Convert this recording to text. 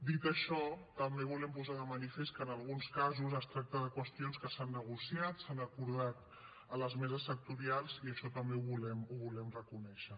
dit això també volem posar de manifest que en alguns casos es tracta de qüestions que s’han negociat s’han acordat a les meses sectorials i això també ho volem reconèixer